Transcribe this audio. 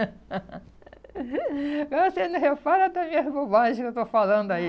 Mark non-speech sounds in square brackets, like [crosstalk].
[laughs] Agora vocês não reparam até minhas bobagens que eu estou falando aí.